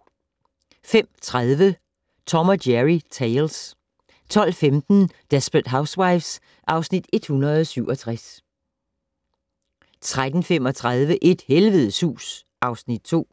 05:30: Tom & Jerry Tales 12:15: Desperate Housewives (Afs. 167) 13:35: Et helvedes hus (Afs. 2)